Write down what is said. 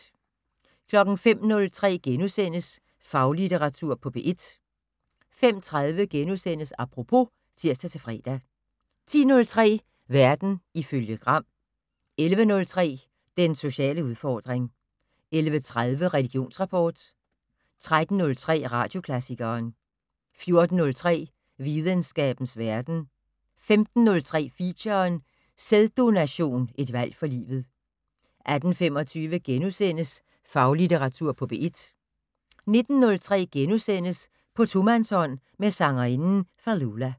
05:03: Faglitteratur på P1 * 05:30: Apropos *(tir-fre) 10:03: Verden ifølge Gram 11:03: Den sociale udfordring 11:30: Religionsrapport 13:03: Radioklassikeren 14:03: Videnskabens verden 15:03: Feature: Sæddononation, et valg for livet 18:25: Faglitteratur på P1 * 19:03: På tomandshånd med sangerinden Fallulah *